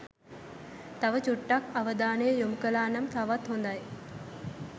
තව චුට්ටක් අවධානය යොමු කලා නම් තවත් හොඳයි